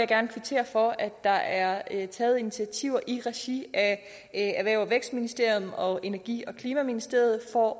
gerne kvittere for at der er taget initiativer i regi af erhvervs og vækstministeriet og energi forsynings og klimaministeriet for